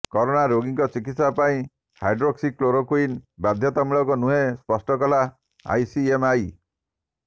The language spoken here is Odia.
କରୋନା ରୋଗୀଙ୍କ ଚିକିତ୍ସା ପାଇଁ ହାଇଡ୍ରୋକ୍ସିକ୍ଲୋରୋକ୍ୱିନ୍ ବାଧ୍ୟତାମୂଳକ ନୁହେଁ ସ୍ପଷ୍ଟ କଲା ଆଇସିଏମଆର